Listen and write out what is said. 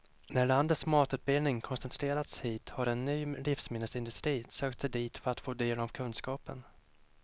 När landets matutbildning koncentrerats hit har en ny livsmedelsindustri sökt sig dit för att få del av kunskapen.